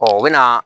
u bɛ na